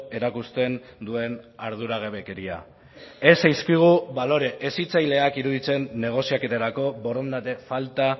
erakusten duen arduragabekeria ez zaizkigu balore hezitzaileak iruditzen negoziaketarako borondate falta